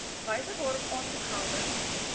wyse waarop aansoekgelde